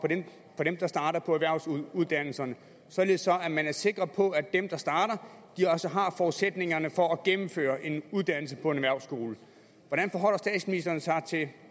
for dem der starter på erhvervsuddannelserne således at man er sikker på at dem der starter også har forudsætningerne for at gennemføre en uddannelse på en erhvervsskole hvordan forholder statsministeren sig til